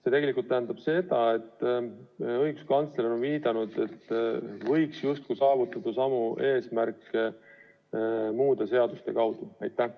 See tegelikult tähendab seda, et õiguskantsler on viidanud, et võiks justkui saavutada samu eesmärke muude seaduste abil.